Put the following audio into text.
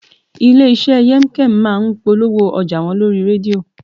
Ilé iṣẹ́ Yemkem máa ń polówó ọjà wọn lórí rédíò